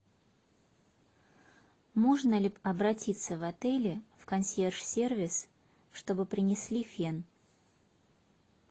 можно ли обратиться в отеле в консьерж сервис чтобы принесли фен